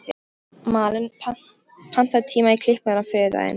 Malen, pantaðu tíma í klippingu á þriðjudaginn.